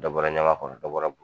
Dɔ bɔra ɲaga kɔnɔ dɔ bɔra